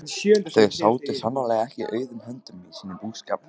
Þau sátu sannarlega ekki auðum höndum í sínum búskap.